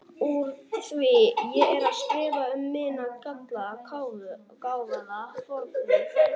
Úr því ég er að skrifa um minn gallaða, gáfaða fornvin Þórberg